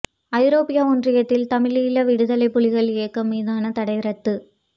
ஐரோப்பிய ஒன்றியத்தில் தமிழீழ விடுதலைப் புலிகள் இயக்கம் மீதான தடை ரத்து